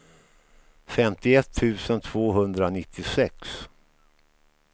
femtioett tusen tvåhundranittiosex